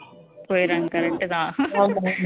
போயிடுறாங்க correct தான்